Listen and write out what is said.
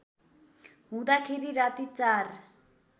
हुँदाखेरि राति ४